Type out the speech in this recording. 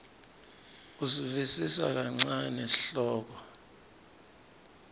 kusivisisa kancane sihloko